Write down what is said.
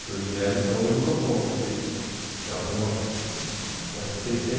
Que eu gero, então eu não dou conta de... Sei lá, tem uma... De